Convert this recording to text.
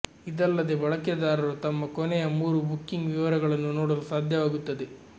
ಇದಲ್ಲದೆ ಬಳಕೆದಾರರು ತಮ್ಮ ಕೊನೆಯ ಮೂರು ಬುಕಿಂಗ್ ವಿವರಗಳನ್ನು ನೋಡಲು ಸಾಧ್ಯವಾಗುತ್ತದೆ